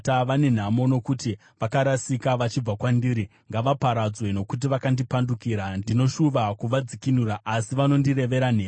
Vane nhamo, nokuti vakarasika vachibva kwandiri! Ngavaparadzwe, nokuti vakandipandukira! Ndinoshuva kuvadzikinura, asi vanondirevera nhema.